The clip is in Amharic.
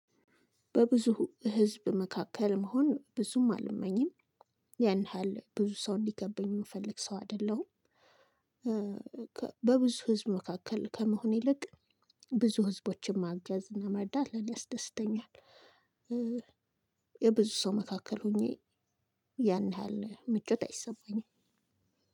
በብዙ ህዝብ መካከል መሆን ብዙም አልመኝም ያን ያህል ብዙ ሰው እንዲገከበኝ የምፈልግ ሰው አይደለሁም። በብዙ ህዝብ መካከል ከመሆን ይልቅ ብዙ ህዝቦችን ማገዝ እና መርዳት ለኔ ያስደስተኛል። በብዙ ሰው መካከል ሆኜ ያን ያህል ምቾት አይሰማኝም።